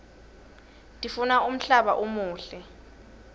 tiguna umhlaba umuhle